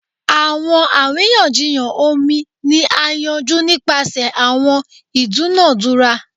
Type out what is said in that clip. Awọn ariyanjiyan omi ni a yanju nipasẹ awọn idunadura